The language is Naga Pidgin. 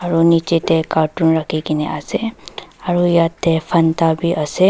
aru niche teh carton rekhi ke ne ase aru yate fanta bhi ase.